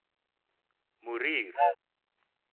morier